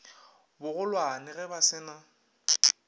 bogolwane ge ba se na